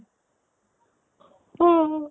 অ